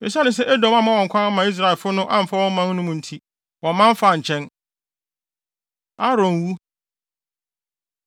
Esiane sɛ Edom amma wɔn kwan amma Israelfo no amfa wɔn man mu no nti, wɔman faa nkyɛn. Aaron Wu